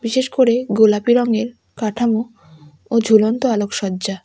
বিশেষ করে গোলাপি রঙের কাঠামো ও ঝুলন্ত আলোকসজ্জা--